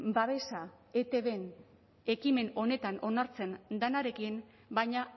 babesa etbn ekimen honetan onartzen denarekin baina